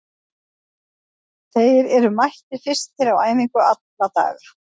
Þeir eru mættir fyrstir á æfingu alla daga.